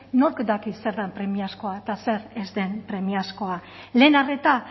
nork daki zer den premiazkoa eta zer ez den premiazkoa lehen arreta